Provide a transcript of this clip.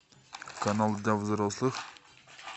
канал для взрослых